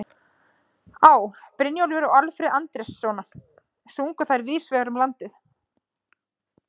Á., Brynjólfur og Alfreð Andrésson sungu þær víðs vegar um landið.